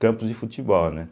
Campos de futebol, né?